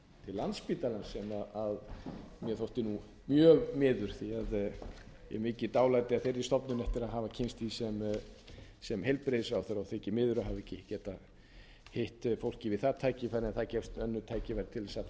landspítalans sem mér þótti mjög miður því að ég hef mikið dálæti a þeirri stofnun eftir að hafa kynnst henni sem heilbrigðisráðherra og þykir miður að hafa ekki getað hitt fólkið við það tækifæri en það gefast önnur tækifæri til þess að fara